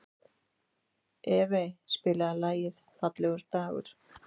Evey, spilaðu lagið „Fallegur dagur“.